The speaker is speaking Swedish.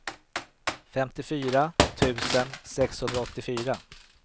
femtiofyra tusen sexhundraåttiofyra